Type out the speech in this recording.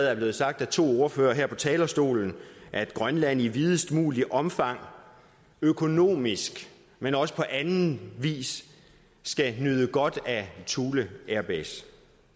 er blevet sagt af to ordførere her på talerstolen at grønland i videst muligt omfang økonomisk men også på anden vis skal nyde godt af thule airbase